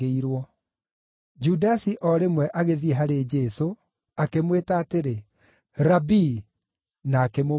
Judasi o rĩmwe agĩthiĩ harĩ Jesũ, akĩmwĩta atĩrĩ, “Rabii!” na akĩmũmumunya.